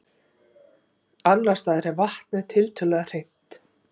Annars staðar er vatnið tiltölulega hreint.